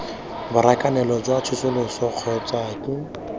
borakanelo jwa tsosoloso kgotsa ke